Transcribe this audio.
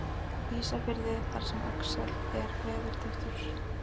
Ísafirði þar sem Axel er veðurtepptur.